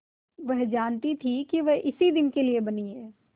वह जानती थी कि वह इसी दिन के लिए बनी है